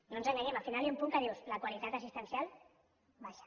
no ens enganyem al final hi ha un punt que dius la qualitat assistencial vaja